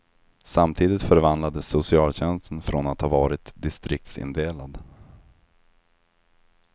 Samtidigt förvandlades socialtjänsten från att ha varit distriktsindelad.